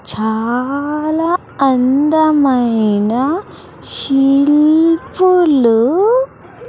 చాలా అందమైన శిల్పులు.